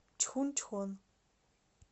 чхунчхон